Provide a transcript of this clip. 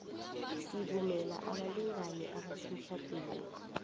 sivumela abalingani abasemtjhadweni